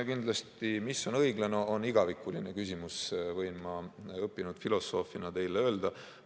No see, mis on õiglane, on igavikuline küsimus, võin ma õppinud filosoofina teile öelda.